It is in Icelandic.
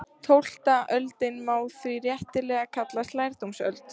Tólfta öldin má því réttilega kallast lærdómsöld.